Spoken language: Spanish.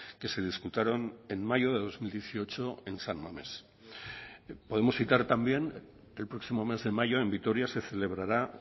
que se disputaron en mayo de dos mil dieciocho en san mamés podemos citar también el próximo mes de mayo en vitoria se celebrará